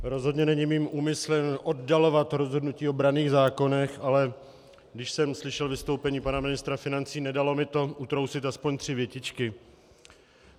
Rozhodně není mým úmyslem oddalovat rozhodnutí o branných zákonech, ale když jsem slyšel vystoupení pana ministra financí, nedalo mi to, utrousit aspoň tři větičky.